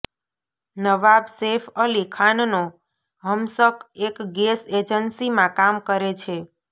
નવાબ સૈફ અલી ખાનનો હમશક એક ગેસ એજન્સીમાં કામ કરે છે